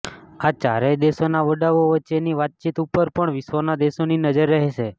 આ ચારેય દેશોના વડાઓ વચ્ચેની વાતચીત ઉપર પણ વિશ્વના દેશોની નજર રહેશે